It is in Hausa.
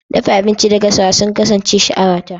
Dafa abinci da gasa sun kasance sha'awata.